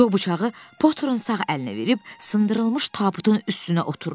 Co bıçağı Poturun sağ əlinə verib sındırılmış tabutun üstünə oturdu.